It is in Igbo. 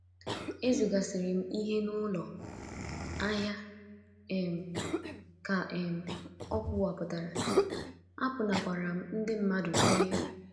“ Ezugasịrị m ihe n’ụlọ ahịa, ” um ka um o kwupụtara, “ apụnakwaara m ndị mmadụ ihe.